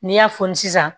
N'i y'a fosi sisan